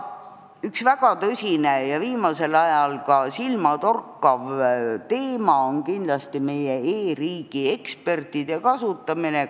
Üks väga tõsine ja viimasel ajal silmatorkav teema on kindlasti meie e-riigi ekspertide kasutamine.